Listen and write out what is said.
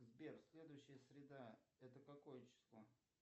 сбер следующая среда это какое число